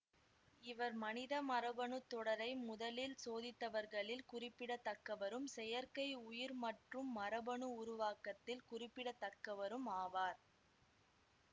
இவர் மனித மரபணு தொடரை முதலிற் சோதித்தவர்களில் குறிப்பிடத்தக்கவரும் செயற்கை உயிர் மற்றும் மரபணு உருவாக்கத்தில் குறிப்பிடத்தக்கவரும் ஆவார்